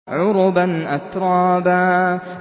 عُرُبًا أَتْرَابًا